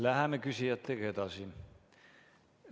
Läheme küsijatega edasi.